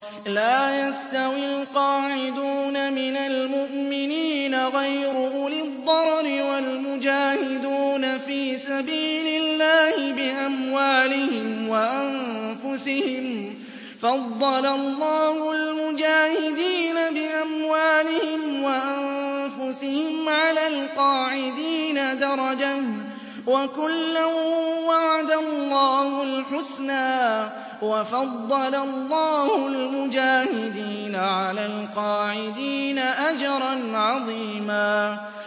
لَّا يَسْتَوِي الْقَاعِدُونَ مِنَ الْمُؤْمِنِينَ غَيْرُ أُولِي الضَّرَرِ وَالْمُجَاهِدُونَ فِي سَبِيلِ اللَّهِ بِأَمْوَالِهِمْ وَأَنفُسِهِمْ ۚ فَضَّلَ اللَّهُ الْمُجَاهِدِينَ بِأَمْوَالِهِمْ وَأَنفُسِهِمْ عَلَى الْقَاعِدِينَ دَرَجَةً ۚ وَكُلًّا وَعَدَ اللَّهُ الْحُسْنَىٰ ۚ وَفَضَّلَ اللَّهُ الْمُجَاهِدِينَ عَلَى الْقَاعِدِينَ أَجْرًا عَظِيمًا